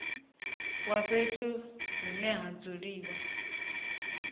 wa fhethu hune ha dzuliwa